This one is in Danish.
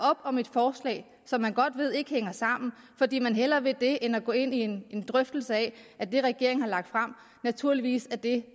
op om et forslag som man godt ved ikke hænger sammen fordi man hellere vil det end at gå ind i en drøftelse af at det regeringen har lagt frem naturligvis er det